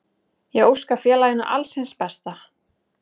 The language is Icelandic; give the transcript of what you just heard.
Ég óska félaginu alls hins besta.